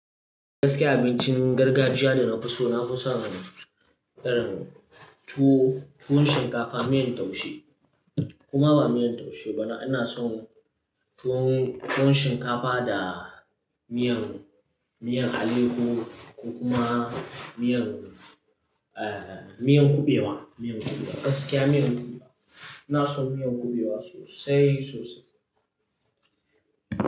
Gaskiya abincin gargajiya da na fi so na fi son irin tuwo, tuwon shinkafa, miyan taushe koma ba miyan taushe ba na, ina son tuwon, tuwon shinkafa da miyan, miyan aleyowo ko kuma miyan, eh, miyan kuɓewa, miyan kuɓewa gaskiya miyan kuɓewa. Ina son miyan kuɓewa sosai sosai.